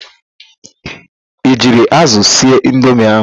I jiri ázụ̀ sie indomi ahụ?